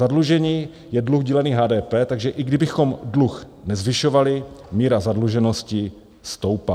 Zadlužení je dluh dílený HDP, takže i kdybychom dluh nezvyšovali, míra zadluženosti stoupá.